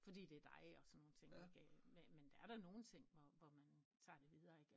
Fordi det er dig og sådan nogle ting men men der er da nogen ting hvor man tager det videre ikke